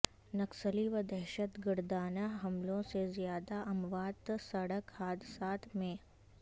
نکسلی و دہشت گردانہ حملوں سے زیادہ اموات سڑک حادثات میں